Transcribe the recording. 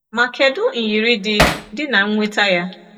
Ma kedụ nyiri dị dị na inweta ya?